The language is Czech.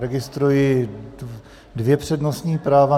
Registruji dvě přednostní práva.